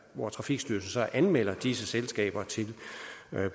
hvor trafikstyrelsen så anmelder disse selskaber til